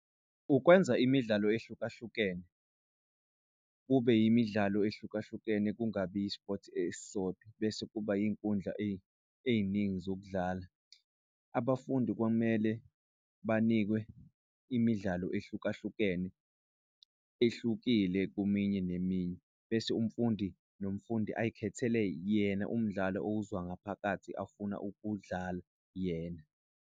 Ukwenza imidlalo ehlukahlukene kube imidlalo ehlukahlukene kungabi ispothi esisodwa bese kuba iy'nkundla ey'ningi zokudlala. Abafundi kwamele banikwe imidlalo ehlukahlukene ehlukile, kweminye neminye bese umfundi nomfundi azikhethele yena umdlalo awuzwa ngaphakathi afuna ukuwudlala yena.